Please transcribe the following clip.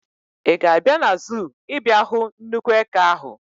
Ị ga-abịa na zuu ịbịa hụ nnukwu eke ahụ?